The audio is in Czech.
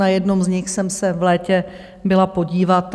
Na jednom z nich jsem se v létě byla podívat.